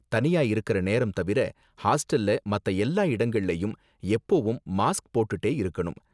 தனியா இருக்குற நேரம் தவிர ஹாஸ்டல்ல மத்த எல்லா இடங்கள்லயும் எப்போவும் மாஸ்க் போட்டுட்டே இருக்கணும்.